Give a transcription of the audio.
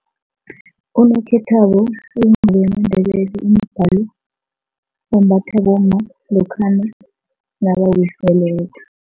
Unokhethwabo uyingubo yamaNdebele imbathwa bomma lokhana nabawiseleko.